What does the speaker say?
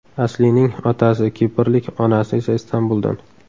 Aslining otasi kiprlik, onasi esa Istanbuldan.